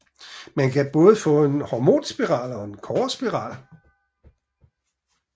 Man kan både få en hormonspiral og en kobberspiral